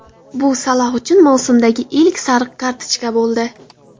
Bu Saloh uchun mavsumdagi ilk sariq kartochka bo‘ldi.